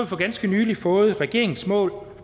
for ganske nylig fået regeringens mål for